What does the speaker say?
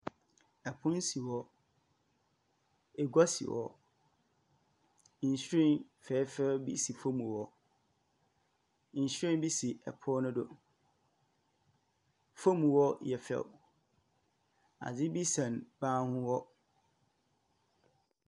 Ɛpono si hɔ, agua si hɔ, nhwiren fɛɛfɛw bi si fɔm hɔ. Nhwiren bi si ɛpono no do. Fɔm hɔ yɛ fɛw, ade sɛn banho hɔ.